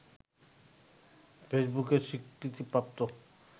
ফেসবুকের স্বীকৃতিপ্রাপ্ত